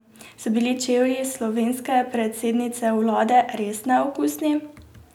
So bili čevlji slovenske predsednice vlade res neokusni?